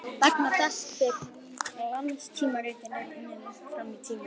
Vegna þess hve glanstímaritin eru unnin langt fram í tímann.